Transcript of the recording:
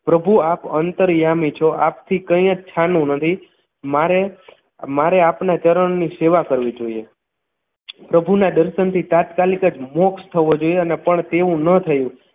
પ્રભુ આપ અંતરયામી છો આપ થી કઈ જ છાનુ નથી મારે મારે આપને ચરણની સેવા કરવી જોઈએ પ્રભુના દર્શનથી તાત્કાલિક જ મોક્ષ થવો જોઈએ અને પણ તેવું ન થયું